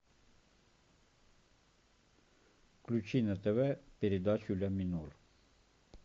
включи на тв передачу ля минор